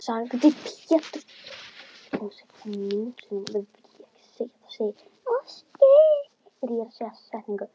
sagði Pétur.